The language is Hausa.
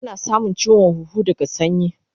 Ana samun chiwon huhu daga sanyi